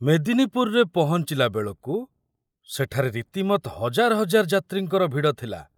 ମେଦିନୀପୁରରେ ପହଞ୍ଚିଲା ବେଳକୁ ସେଠାରେ ରୀତିମତ ହଜାର ହଜାର ଯାତ୍ରୀଙ୍କର ଭିଡ଼ ଥିଲା।